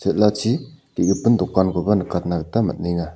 el·achi ge·gipin dokankoba nikatna gita man·enga.